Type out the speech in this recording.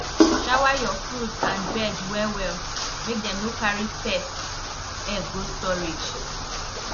shower your fruit and veg well well make dem no carry pest egg go storage